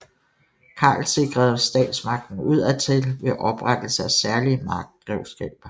Karl sikrede statsmagten udadtil ved oprettelse af særlige markgrevskaber